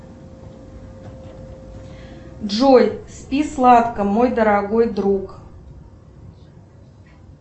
джой спи сладко мой дорогой друг